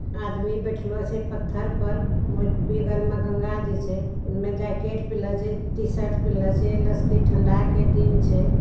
आदमी बैठलो छे पत्थर पर | वो एक बेगल मे गंगा जी छे | इमें जैकेट पेन्हले छे टी-शर्ट पेन्हले छे | लस के ठंडा के दिन छे ।